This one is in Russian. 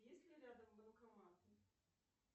есть ли рядом банкоматы